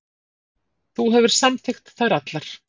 Þú hefur samþykkt þær allar.